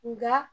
Nka